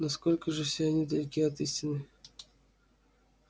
насколько же все они далеки от истины